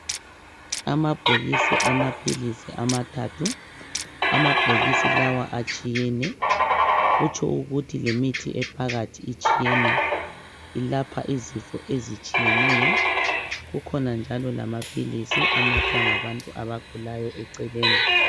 Amabhokisi amaphilisi amathathu. Amabhokisi lawa atshiyene, kutsho ukuthi lemithi ephakathi itshiyene. Ilapha izifo ezitshiyeneyo. Kukhona njalo lamaphilisi anathwa ngabantu abagulayo eceleni.